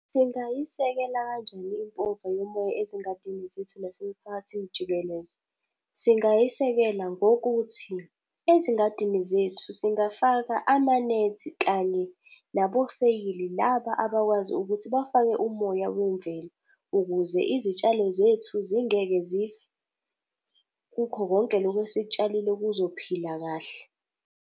Singayisekela kanjani impova yomoya ezingadini zethu nasemiphakathini jikelele? Singayisekela ngokuthi, ezingadini zethu singafaka amanethi kanye naboseyili laba abakwazi ukuthi bafake umoya wemvelo, ukuze izitshalo zethu zingeke zife. Kukho konke lokhu esikutshalile kuzophila kahle.